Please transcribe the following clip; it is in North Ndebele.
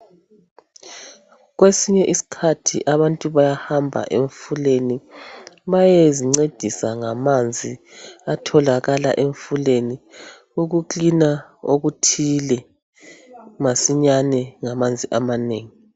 Kwesinye isikhathi abantu bayahamba emfuleni bayezincedisa ngamanzi atholakala emfuleni ukucleaner okuthile masinyane ngamanzi amanengi.